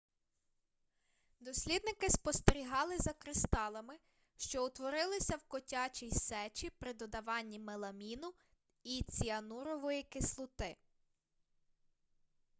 дослідники спостерігали за кристалами що утворилися в котячій сечі при додаванні меламіну і ціанурової кислоти